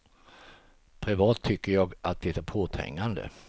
Privat tycker jag att de är påträngande.